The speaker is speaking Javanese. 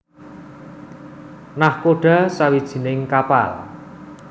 Nakhoda sawijining kapal